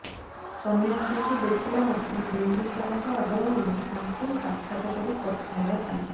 ସନ୍ନ୍ୟାସୀଙ୍କୁ ଦେଖିଲାମାତ୍ରେ ବିମ୍ବିସାରଙ୍କ ଆଗ୍ରହ ହେଲା ତାଙ୍କୁ ସାକ୍ଷାତ କରି କଥା ହେବା ପାଇଁ